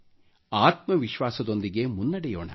ಆತ್ಮವಿಶ್ವಾಸದೊಂದಿಗೆ ಮುನ್ನಡೆಯೋಣ